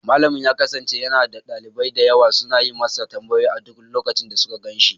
Malamin ya kasance yana da dalibai da yawa suna yi masa tambayoyi a duk lokacin da suka gan shi.